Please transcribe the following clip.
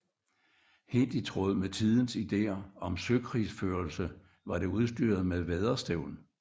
Helt i tråd med tidens ideer om søkrigsførelse var det udstyret med vædderstævn